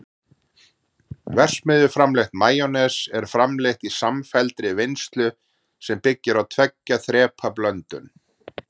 verksmiðjuframleitt majónes er framleitt í samfelldri vinnslu sem byggist á tveggja þrepa blöndun